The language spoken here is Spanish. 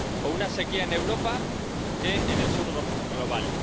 o una sequía en Europa que en el Sur global